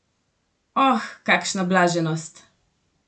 Oh, kakšna blaženost!